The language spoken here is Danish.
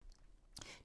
DR2